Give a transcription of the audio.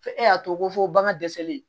E y'a to ko fo bagan dɛsɛlen